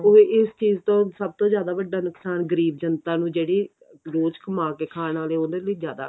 ਉਹ ਇਸ ਚੀਜ਼ ਤੋਂ ਸਭ ਤੋਂ ਜਿਆਦੇ ਵੱਡਾ ਨੁਕਸਾਨ ਗਰੀਬ ਜਨਤਾ ਨੂੰ ਜਿਹੜੇ